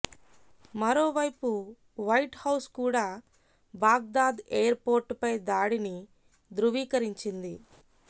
మరోవైపు White House కూడా Baghdad air పోర్టుపై దాడిని ధ్రువీకరించింది